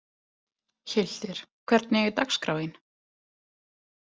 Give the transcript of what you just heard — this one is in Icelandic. Hyltir, hvernig er dagskráin?